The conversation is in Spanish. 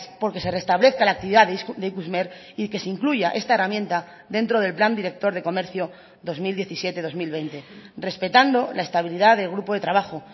por que se restablezca la actividad de ikusmer y que se incluya esta herramienta dentro del plan director de comercio dos mil diecisiete dos mil veinte respetando la estabilidad del grupo de trabajo